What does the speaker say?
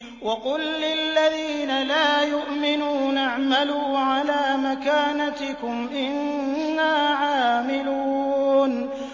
وَقُل لِّلَّذِينَ لَا يُؤْمِنُونَ اعْمَلُوا عَلَىٰ مَكَانَتِكُمْ إِنَّا عَامِلُونَ